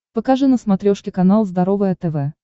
покажи на смотрешке канал здоровое тв